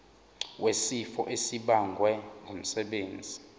wesifo esibagwe ngumsebenzi